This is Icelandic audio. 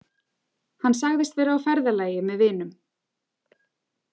Hann sagðist vera á ferðalagi með vinum.